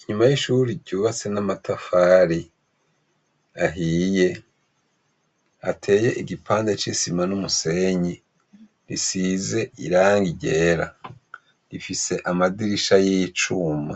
Inyuma y'ishure ryubatse n'amatafari ahiye, hateye igipande c'isima n'umusenyi, isize irangi ryera. Ifise amadirisha y'icuma.